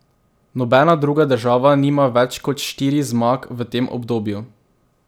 Nobena druga država nima več kot štirih zmag v tem obdobju.